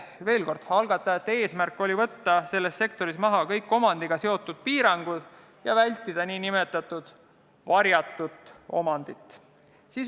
Veel kord, algatajate eesmärk oli võtta selles sektoris maha kõik omandiga seotud piirangud ja vältida nn varjatud omandit.